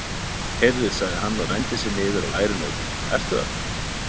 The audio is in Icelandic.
Heyrðu, sagði hann og renndi sér niður á lægri nótur, ertu þarna?